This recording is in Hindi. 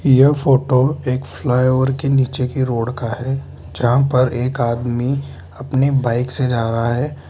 यह फोटो एक फ्लाईओवर के नीचे की रोड का है जहां पर एक आदमी अपनी बाइक से जा रहा है।